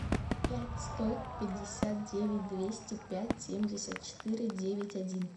пять сто пятьдесят девять двести пять семьдесят четыре девять один